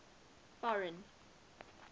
foreign